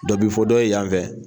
Dɔ bi fɔ dɔ ye yanfɛ